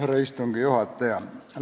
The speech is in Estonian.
Härra istungi juhataja!